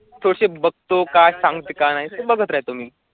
तुमची बघतो का सांगता का नाही तुम्ही?